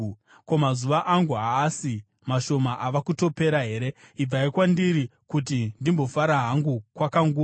Ko, mazuva angu haasi mashoma ava kutopera here? Ibvai kwandiri kuti ndimbofara hangu kwakanguva,